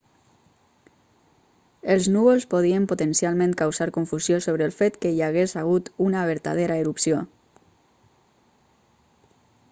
els núvols podien potencialment causar confusió sobre el fet que hi hagués hagut una vertadera erupció